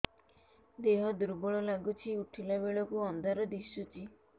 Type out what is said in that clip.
ଦେହ ଦୁର୍ବଳ ଲାଗୁଛି ଉଠିଲା ବେଳକୁ ଅନ୍ଧାର ଦିଶୁଚି